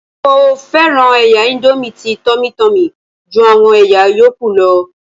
Mo fẹ́ràn ẹ̀yà índómì tí Tummy Tummy ju àwọn ẹ̀yà yóókù lọ